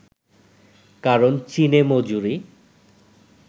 কারণ চীনে মজুরি